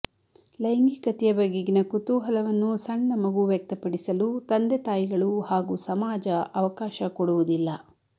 ಲೈಂಗಿಕತೆಯ ಬಗೆಗಿನ ಕುತೂಹಲವನ್ನು ಸಣ್ಣ ಮಗು ವ್ಯಕ್ತಪಡಿಸಲು ತಂದೆ ತಾಯಿಗಳು ಹಾಗೂ ಸಮಾಜ ಅವಕಾಶ ಕೊಡುವುದಿಲ್ಲ